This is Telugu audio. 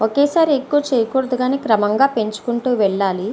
ఒకేసారి ఎక్కువ చేయకుడదు కానీ క్రమంగా పెచుకుంటూ వెళ్ళాలి.